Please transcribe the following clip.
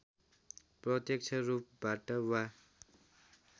प्रत्‍यक्ष रूपबाट वा